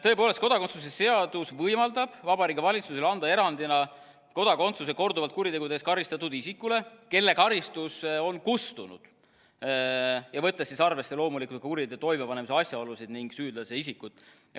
Tõepoolest, kodakondsuse seadus võimaldab Vabariigi Valitsusel erandina anda kodakondsuse korduvalt kuritegude eest karistatud isikule, kelle karistus on kustunud, võttes loomulikult arvesse kuriteo toimepanemise asjaolusid ning süüdlase isikut.